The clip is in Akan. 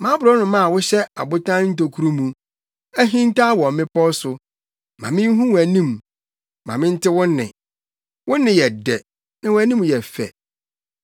Mʼaborɔnoma a wohyɛ abotan ntokuru mu, ahintaw wɔ mmepɔw so, ma minhu wʼanim; ma mente wo nne; wo nne yɛ dɛ, na wʼanim yɛ fɛ.